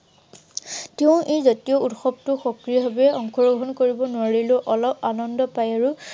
এই জাতীয় উৎসৱটো সক্ৰিয় ভাৱে অংশগ্ৰহণ কৰিব নোৱাৰিলেও অলপ আনন্দ পায়। আৰু